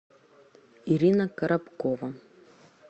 ирина коробкова